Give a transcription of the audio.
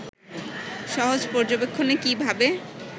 সহজ পর্যবেক্ষণে কী ভাবে